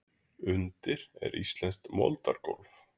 Undir er íslenskt moldargólf.